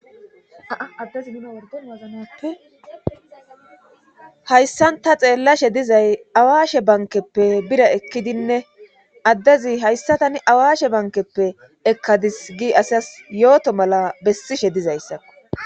Aaaddezi mina wordon wazanappe hayssan ta xeellashe dizay awaashe bankeppe bira ekkidinne addezi hayssatani awaashe bankeppe ekkadis gi asias yooto mala bessishe dizayssakko